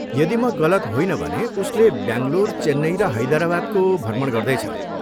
यदि म गलत होइन भने उसले ब्याङ्गलोर, चेन्नई र हैदराबादको भ्रमण गर्दैछ।